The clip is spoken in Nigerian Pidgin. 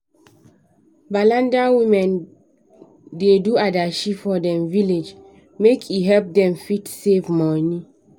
balanda women da do adashi for dem village make e help them fit save money